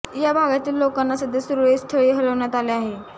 या भागातील लोकांना सध्या सुरक्षित स्थळी हलवण्यात आले आहे